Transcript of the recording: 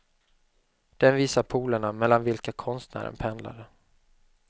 Den visar polerna mellan vilka konstnären pendlade.